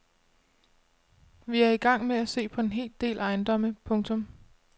Vi er i gang med at se på en hel del ejendomme. punktum